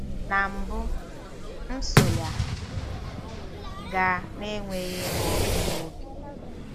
Na mbụ, m so ya gaa - n'enweghị ịnụ ọkụ n'obi.